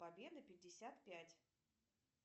победа пятьдесят пять